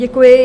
Děkuji.